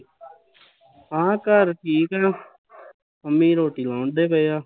ਹਾਂ ਘਰ ਠੀਕ ਆ ਅਮੀ ਲਾਉਣ ਡਏ ਪਏ ਆ